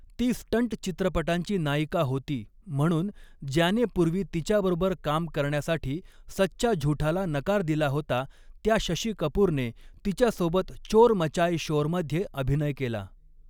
ती 'स्टंट चित्रपटांची नायिका' होती म्हणून ज्याने पूर्वी तिच्याबरोबर काम करण्यासाठी सच्चा झुठाला नकार दिला होता, त्या शशी कपूरने तिच्यासोबत चोर मचाये शोरमध्ये अभिनय केला.